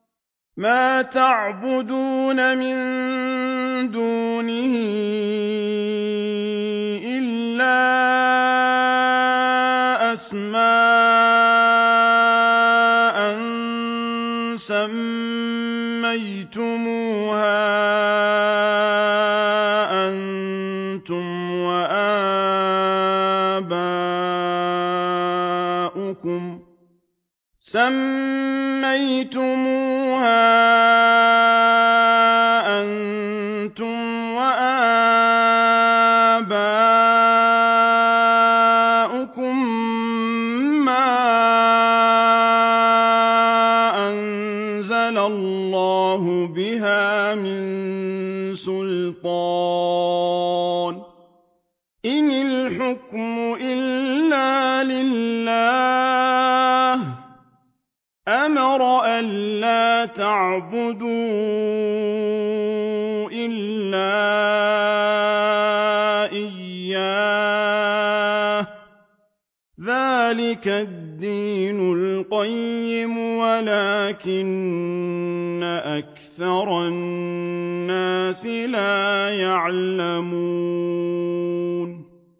مَا تَعْبُدُونَ مِن دُونِهِ إِلَّا أَسْمَاءً سَمَّيْتُمُوهَا أَنتُمْ وَآبَاؤُكُم مَّا أَنزَلَ اللَّهُ بِهَا مِن سُلْطَانٍ ۚ إِنِ الْحُكْمُ إِلَّا لِلَّهِ ۚ أَمَرَ أَلَّا تَعْبُدُوا إِلَّا إِيَّاهُ ۚ ذَٰلِكَ الدِّينُ الْقَيِّمُ وَلَٰكِنَّ أَكْثَرَ النَّاسِ لَا يَعْلَمُونَ